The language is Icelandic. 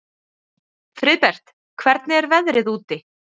Friðbert, hvernig er veðrið úti?